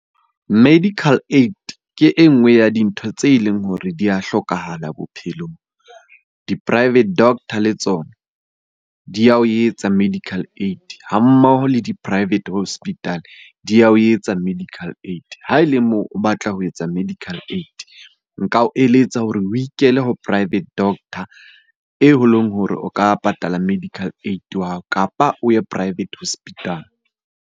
Medical aid ke e nngwe ya dintho tse leng hore di a hlokahala bophelong. Di-private doctor le tsona di ya o etsa medical aid, ha mmoho le di-private hospital di ya ho etsa medical aid. Ha e le moo o batla ho etsa medical aid, nka o eletsa hore o ikele ho private doctor eo e leng hore o ka patala medical aid wa hao kapa o ye private hospital.